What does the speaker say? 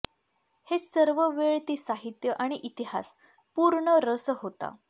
हे सर्व वेळ ती साहित्य आणि इतिहास पूर्ण रस होता